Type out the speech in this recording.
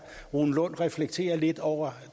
rune lund reflektere lidt over